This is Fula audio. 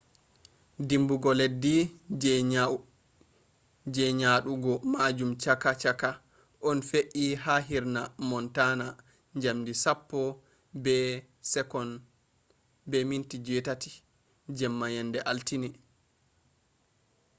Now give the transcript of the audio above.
dimbugo leddi je nyadugo majum chaka chaka on fe’i ha hirna montana jamdi 10:08 jemma yende altine